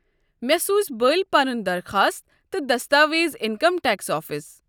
مےٚ سوٗز بٔلۍ پنُن درخواست تہٕ دستاویز انکم ٹیکس آفسس۔